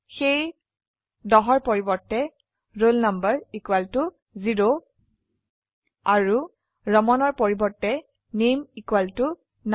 সেয়ে 10 ৰপৰিবৰ্তে roll number 0 আৰু Ramanৰ পৰিবৰ্তে নামে নাল